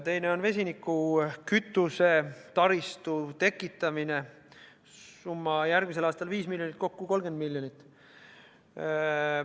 Teine meede on vesinikkütuse taristu tekitamine, summa järgmisel aastal 5 miljonit eurot, kokku 30 miljonit eurot.